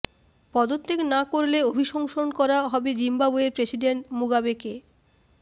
পদত্যাগ না করলে অভিশংসন করা হবে জিম্বাবুয়ের প্রেসিডেন্ট মুগাবেকে